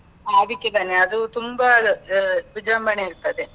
ಅದಕ್ಕೆ ಬನ್ನಿ, ಅದು ತುಂಬಾ ವಿಜೃಂಭಣೆ ಇರ್ತದೆ.